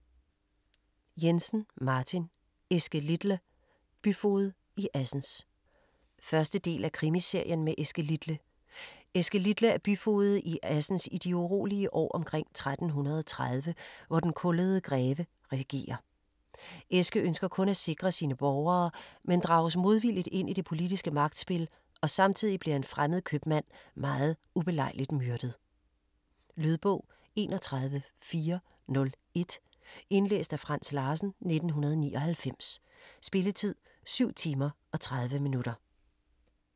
Jensen, Martin: Eske Litle: byfoged i Assens 1. del af Krimiserien med Eske Litle. Eske Litle er byfoged i Assens i de urolige år omkring 1330, hvor Den Kullede Greve regerer. Eske ønsker kun at sikre sine borgere, men drages modvilligt ind i det politiske magtspil, og samtidig bliver en fremmed købmand meget ubelejligt myrdet. Lydbog 31401 Indlæst af Frans Larsen, 1999. Spilletid: 7 timer, 30 minutter.